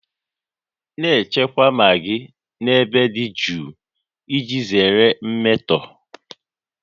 Na-echekwa magị n'ebe dị jụụ iji zere mmetọ